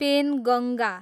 Penganga